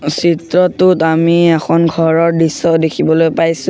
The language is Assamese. চিত্ৰটোত আমি এখন ঘৰৰ দৃশ্য দেখিবলৈ পাইছোঁ।